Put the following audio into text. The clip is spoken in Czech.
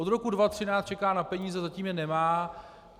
Od roku 2013 čeká na peníze, zatím je nemá.